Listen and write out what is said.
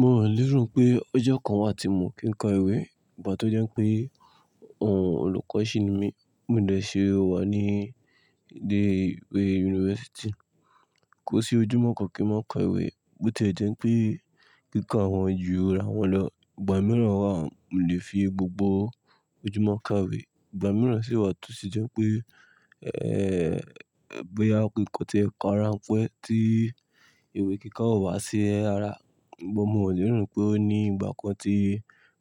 Mo lerò pé ọjọ́ kan wà tí miò kí n ka ìwé, ìgbà tó jẹ́ pé olùkọ́ ṣìní mi. Mo dè ṣi wà ní ilé ìwé yunifásítì, kó sí ojúmọ́ kan kí mò kọ ìwé bó tí ẹ jẹ́ pé kíka wọn ju ara wọn lọ. Ìgbà mìíràn wà mò lè fi gbogbo ojúmọ́ kàwé, ìgbà mìíràn sì wà toṣi jẹ́ pé, ẹ́ẹ̀, bóyá kíkọ́ tì ẹ kọ rán pẹ́ tí ìwé kíkọ́ ó wá sí ẹ ara. Dugbon mò lerò pé ó ní ìgbà kan tí